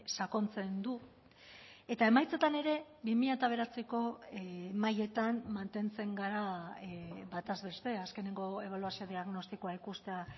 sakontzen du eta emaitzetan ere bi mila bederatziko mailetan mantentzen gara bataz beste azkeneko ebaluazio diagnostikoa ikustea